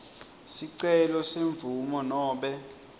sicelo semvumo nobe